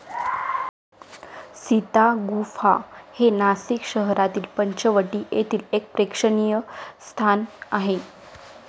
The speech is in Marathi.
सीता गुंफा हे नासिक शहरातील पंचवटी येथील एक प्रेक्षणीय स्थान आहे.